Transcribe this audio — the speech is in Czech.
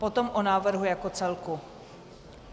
Potom o návrhu jako celku.